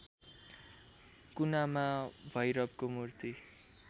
कुनामा भैरवको मूर्ति